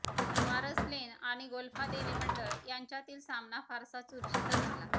वारसलेन आणि गोल्फादेवी मंडळ यांच्यातील सामना फारसा चुरशीचा झाला